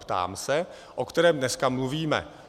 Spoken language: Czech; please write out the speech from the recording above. Ptám se, o kterém dneska mluvíme.